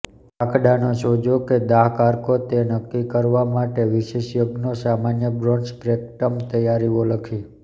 કાકડાનો સોજો કે દાહ કારકો તે નક્કી કરવા માટે વિશેષજ્ઞો સામાન્ય બ્રોડ સ્પ્રેક્ટમ તૈયારીઓ લખી